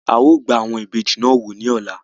Áà ó gbà àwọn ìbejì náà wò ní ọ̀la